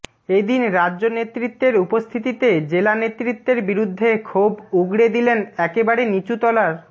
এ দিন রাজ্য নেতৃত্বের উপস্থিতিতে জেলা নেতৃত্বের বিরুদ্ধে ক্ষোভ উগরে দিলেন একেবারে নিচু তলার